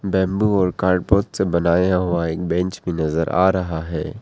Bamboo और carpet से बनाया हुआ एक बेंच भी नजर आ रहा है।